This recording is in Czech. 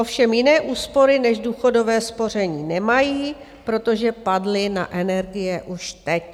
Ovšem jiné úspory než důchodové spoření nemají, protože padly na energie už teď.